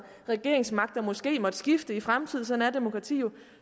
regeringsmagten måske måtte skifte i fremtiden sådan er demokrati jo